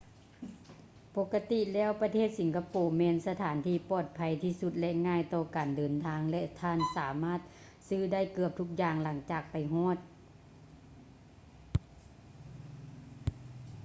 ປົກກະຕິແລ້ວປະເທດສິງກະໂປແມ່ນສະຖານທີ່ປອດໄພທີ່ສຸດ ແລະ ງ່າຍຕໍ່ການເດີນທາງ ແລະ ທ່ານສາມາດຊື້ໄດ້ເກືອບທຸກຢ່າງຫຼັງຈາກໄປຮອດ